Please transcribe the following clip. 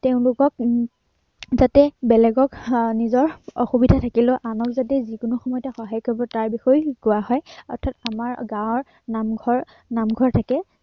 তেওঁলোকক উম যাতে বেলেগেক উম আহ নিজৰ অসুবিধা থাকিলেও আনক যাতে যি কোনো সময়তে সহয়া কৰিব তাৰ বিষয়ে শিকোৱা হয়, অৰ্থাত আমাৰ গাঁৱৰ আহ নামঘৰ, নামঘৰ থাকে